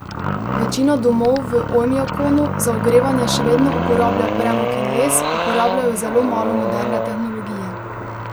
Večina domov v Ojmjakonu za ogrevanje še vedno uporablja premog in les, uporabljajo zelo malo moderne tehnologije.